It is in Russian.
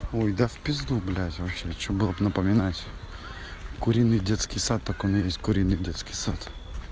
ой да в пизду блять вообще что было б напоминать куриный детский сад так он и есть куриный детский сад